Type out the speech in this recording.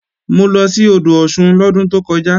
Mo lọ sí odò Ọ̀ṣun lọ́dún tó kọjá